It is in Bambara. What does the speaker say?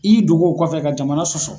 I y'i dogo o kɔfɛ ka jamana sɔsɔ.